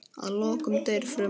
Að lokum deyr fruman.